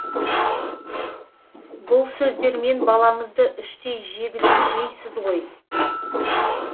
бұл сөздермен балаңызды іштей жегідей жейсіз ғой